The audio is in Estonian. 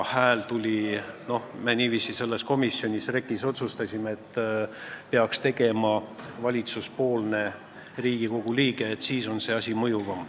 Me otsustasime selles komisjonis, REKK-is, et seda tööd peaks vedama valitsuspoolne Riigikogu liige, siis on asi mõjuvam.